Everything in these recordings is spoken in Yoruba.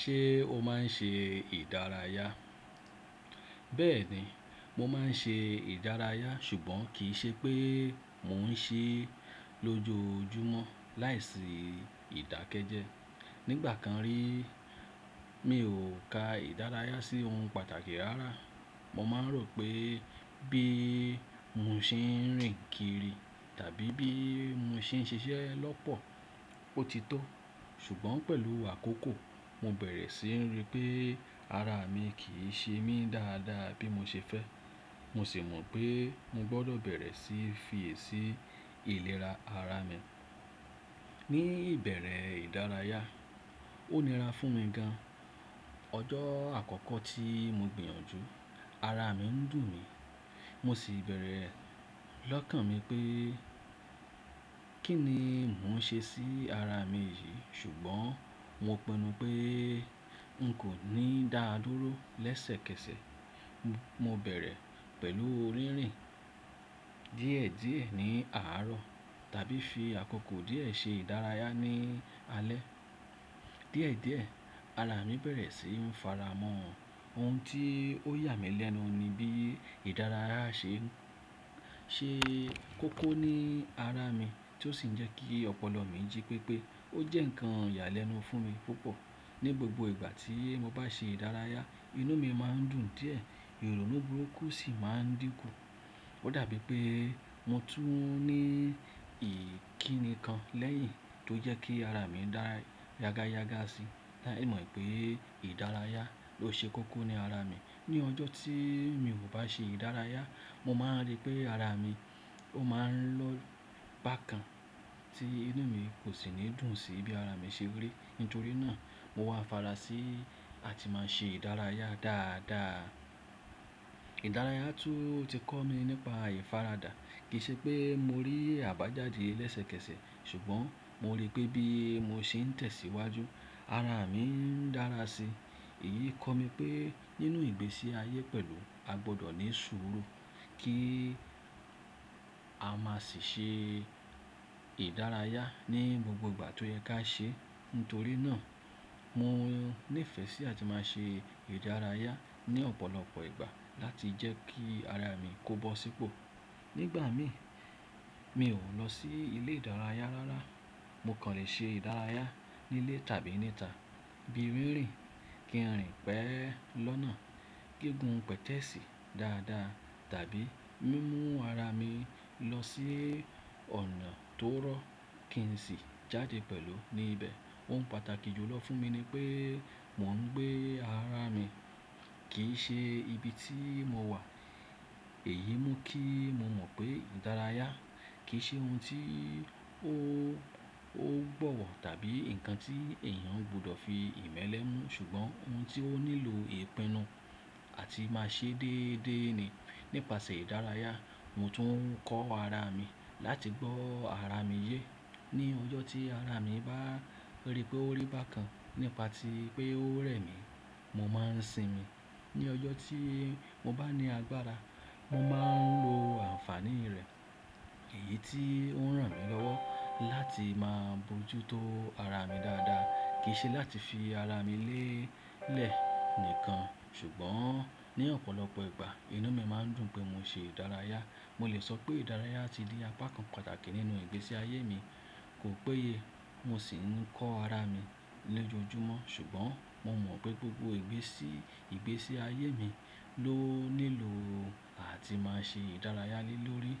Ṣé o máa ń ṣe ìdárayá? Bẹ́ẹ̀ni, mo máa ń ṣe ìdárayá ṣùgbọ́n kì í ṣe pé mo n ṣe é lójoojúmọ́ láìsí ìdákẹ́jẹ́. Nígbà kan rí mi ò ka ìdárayá sí ohun pàtàkì rárá. Mo máa ń rò pé bí mo ṣe ń rìn kiri tàbí bí mo ṣe ń ṣiṣẹ́ lọ́pọ̀ ó ti tó. Ṣùgbọ́n pẹ̀lú àkókò mo bẹ̀rẹ̀ sí ní rí pé ara mi kì í ṣe mí dáadáa bí mo ṣe fẹ́. Mo sì mọ̀ pé mo gbọ́dọ̀ bẹ̀rẹ̀ sí fi èsì ìlera ara mi. Ni ìbẹ̀rẹ̀ ìdárayá, ó nira fún mi gan. Ọjọ́ àkọ́kọ́ tí mo gbìyànjú ara mi ń dùn mí, mo sì bẹ̀rẹ̀ lọ́kàn mi pé kí ni mò ń ṣe sí ara mi yìí ṣùgbọ́n mo pinnu pé n kò ní dáa dúró lẹ́sẹ̀kẹsẹ̀. Mo bẹ̀rẹ̀ pẹ̀lú rínrìn díẹ̀díẹ̀ ní àárọ̀ tàbí fi àkókò díẹ̀ ṣe ìdárayá ní alẹ́. Díẹ̀díẹ̀ ara mi bẹ̀rẹ̀ sí ní fara mọ ohun tí ó yà mí lẹ́nu ni bí ìdárayá ṣe ń ṣe kókó ní ara mi tí ó sì ń jẹ́ kí ọpọlọ mi jí pépé. Ó jẹ́ ǹkan ìyàlẹ́nu fún mi púpọ̀. Ni gbogbo ìgbà tí mo bá ṣe ìdárayá inú mi má ń dùn díẹ̀, ìrònú burúkú sì má ń dínkù. Ó dàbí pé mo tún ní ìkíni kan lẹ́yìn tó jẹ́ kí ara mi dára yágáyágá si. Láì mọ̀ pé ìdárayá ló ṣe kókó ní ara mi. Ni ọjọ́ tí mi ò bá ṣe ìdárayá mo máa rí pé ara mi ó máa ń lọ bákan tí inú mi kò sì ní dùn sí bí ara mi ṣe rí. Nítorí náà mo wá fara sí àti máa ṣe ìdárayá dáadáa. Ìdárayá tún ti kọ́ mi nípa ìfaradà. Kì í ṣe pé mo rí àbájáde lẹ́sẹ̀kẹsẹ̀ ṣùgbọ́n mo rí pé bí mo ṣe ń tẹ̀síwájú ara mi ń dára si. Èyí kọ́ mi pé nínú ìgbésí ayé pẹ̀lú a gbọ́dọ̀ ní sùúrù kí a má sì ṣe ìdárayá ní gbogbo ìgbà tó yẹ ká ṣe. Nítorí náà mo nífẹ̀ẹ́ sí àti máa ṣe ìdárayá ní ọ̀pọ̀lọpọ̀ ìgbà láti jẹ́ kí ara mi kó bó sípò. Nígbà mi mi ò lọ sí ilé ìdárayá rárá. Mo kàn lè ṣe ìdárayá nílé tàbí níta bíi rínrìn kinri pẹ́ lọ́nà, gígùn pẹtẹẹsì dáadáa tàbí mímú ara mi lọ sí ọ̀nà tó rọ́ kí ń sì jáde pẹ̀lú ní ibẹ̀. Ohun pàtàkì jùlọ fún mi ni pé mò ń gbé ara mi kì í ṣe ibi tí mo wà. Èyí mú kí mo mọ̀ pé ìdárayá kì í ṣe ohun tí ó gbọ́wọ̀ tàbí ǹkan tí èèyàn gbọ́dọ̀ fi ìmẹ́lẹ́ mú ṣùgbọ́n ohun tí ó nílò ìpinnu àti máa ṣe déédéé ni. Nípasẹ̀ ìdárayá mo tún ń kọ́ ara mi láti gbọ́ ara mi yé. Ni ọjọ́ tí ara mi bá rí pé ó rí bákan nípa tí pé ó rẹ̀ mí, mo máa ń sinmi. Ni ọjọ́ tí mo bá ní agbára mo máa ń lo àǹfàní rẹ̀. Èyí tí ó ń ràn mí lọ́wọ́ láti máa bojútó ara mi dáadáa kì í ṣe láti fi ara mi lélẹ̀ nìkan ṣùgbọ́n ní ọ̀pọ̀lọpọ̀ ìgbà inú mi má ń dùn pé mo ṣe ìdárayá. Mo lè sọ pé ìdárayá ti ní apá kan pàtàkì nínú ìgbésí ayé mi. Kò péye mo sì ń kọ́ ara mi lójoojúmọ́ ṣùgbọ́n mo mọ̀ pé gbogbo ìgbésí ayé mi ló nílò àti máa ṣe ìdárayá lé lórí.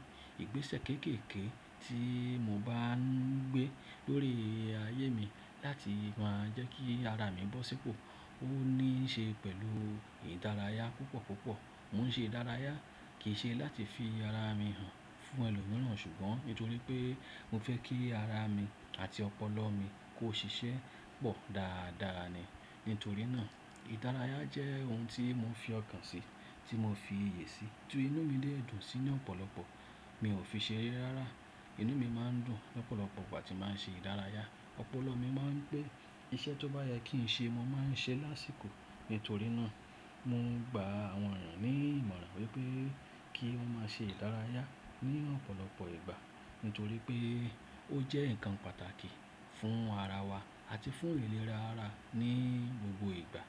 Ìgbésẹ̀ kéékèèké tí mo bá ń gbé lórí ayé mi láti máa jẹ́ kí ara mi bọ́ sípò ó ní í ṣe pẹ̀lú ìdárayá púpọ̀púpọ̀. Mo ń ṣe ìdárayá kì í ṣe láti fi ara mi hàn fún ẹlòmíràn ṣùgbọ́n nítorí pé mo fẹ́ kí ara mi àti ọpọlọ mi kó ṣiṣẹ́ pọ̀ dáadáa ni. Nítorí náà ìdárayá jẹ́ ohun tí mo ń fi ọkàn sí, tí mo fi iyè sí tí inú mi lè dùn sí ní ọ̀pọ̀lọpọ̀. Mi ò fi ṣe rí rárá. Inú mi má ń dùn lọ́pọ̀lọpọ̀ ìgbà tí màá ń ṣe ìdárayá. Ọpọlọ mi má ń pé. Iṣẹ́ tó bá yẹ kí ń ṣe mo máa ń ṣe lásìkò. Nítorí náà mo ń gba àwọn èèyàn ní ìmọ̀ràn wípé kí wón má ṣe ìdárayá ní ọ̀pọ̀lọpọ̀ ìgbà nítorí pé ó jẹ́ ǹkan pàtàkì fún ara wa àti fún ìlera ara ní gbogbo ìgbà.